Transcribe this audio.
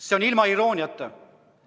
See oli öeldud ilma irooniata.